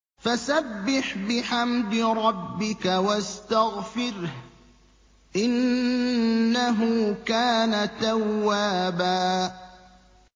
فَسَبِّحْ بِحَمْدِ رَبِّكَ وَاسْتَغْفِرْهُ ۚ إِنَّهُ كَانَ تَوَّابًا